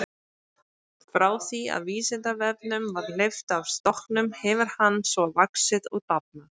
Frá því að Vísindavefnum var hleypt af stokkunum hefur hann svo vaxið og dafnað.